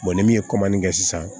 ni min ye kɛ sisan